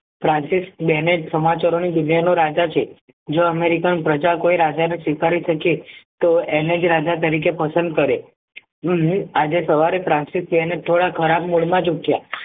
સમાચારોની દુનિયાનો રાજા છે જો american પ્રજા કોઈ રાજા નો સ્વીકારી શકે તો એને જ રાજા તરીકે પસંદ કરે હું આજે સવારે થોડા ખરાબ mood માં જ ઉઠ્યા